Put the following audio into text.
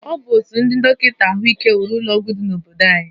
Ọ bụ otu ndị dọkịta ahụike wuru ụlọọgwụ dị n'obodo anyi